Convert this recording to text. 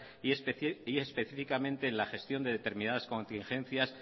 y específicamente en la gestión de determinadas contingencias